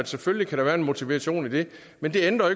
selvfølgelig kan være en motivation i det men det ændrer